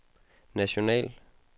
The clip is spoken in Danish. national